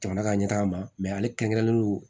Jamana ka ɲɛ taga ma mɛ ale kɛrɛnkɛrɛnlen don